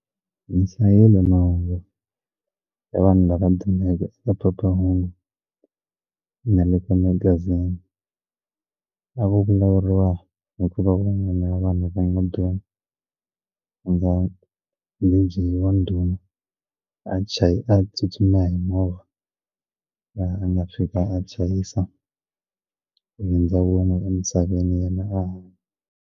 Ni hlayile mahungu hi vanhu lava dumeke eka phephahungu na le ka magazini a ku vulavuriwa hikuva van'wana vanhu va league yin'wana ya ndhuma a tsutsuma hi movha laha a nga fika a chayisa ku hindza wun'we emisaveni yena a hanya.